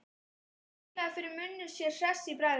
Raulaði fyrir munni sér hress í bragði.